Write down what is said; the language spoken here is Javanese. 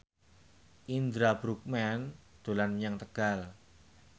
Indra Bruggman dolan menyang Tegal